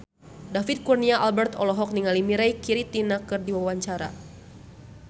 David Kurnia Albert olohok ningali Mirei Kiritani keur diwawancara